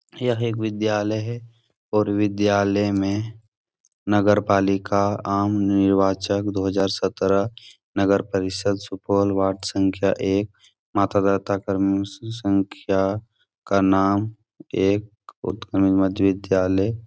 यह एक विद्यालय है और विद्यालय में नगरपालिका आमनिर्वाचक दो हजार सत्राह नगरपरिषद् सुपौल वार्ड संख्या एक मतदाता क्रम संख्या का नाम एक उत्क्रम मध्य विद्यालय --